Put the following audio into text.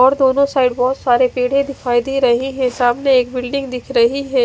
और दोनों साइड बहोत सारे पेडे दिखाई दे रहे है सामने बिल्डिंग दिख रही है।